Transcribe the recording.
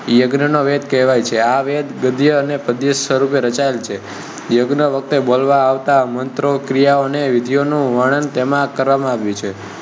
યજ્ઞ નો વેદ કહેવાય છે. આ વેદ ગદ્ય અને પદ્ય સ્વરૂપે રચાયેલ છે. યજ્ઞ વખતે બોલવા આવતા મંત્ર, ક્રિયા અને વિધિ ઓ નું વર્ણન તેમાં કરવામાં આવ્યું છે.